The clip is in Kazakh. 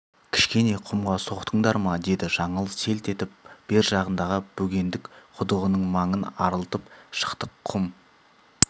кішкене құмға соқтыңдар ма деді жаңыл селт етіп бер жағындағы бөгендік құдығының маңын арылтып шықтық құм